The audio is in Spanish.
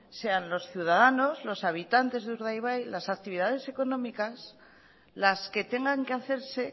sean los ciudadanos los habitantes de urdaibai las actividades económicas las que tengan que hacerse